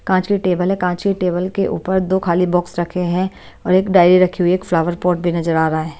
कांच की टेबल है कांच की टेबल के ऊपर दो खाली बॉक्स रखे हैं और एक डायरी रखी हुई है एक फ्लावर पॉट भी नजर आ रहा है।